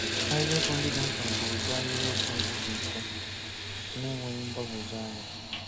Ahịrịokwu ndị dị mkpa bụ ụdị ahịrịokwu ndị dị mfe, na-enweghị mgbagwoju anyá.